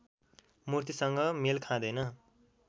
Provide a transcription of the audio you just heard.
मूर्तिसँग मेल खाँदैन